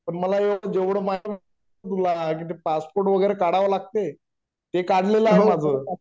पण मला यातलं जेवढं माहीत तुला पासपोर्ट वगैरे काडाव लागते ते काढलेल आहे माझ